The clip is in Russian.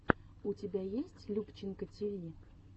у тебя есть любченко тиви